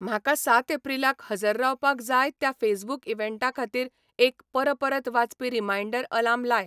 म्हाका सात एप्रिलाक हजर रावपाक जाय त्या फेसबूकइव्हॅन्टाखातीर एक परपरत वाजपी रीमाइन्डर आलार्म लाय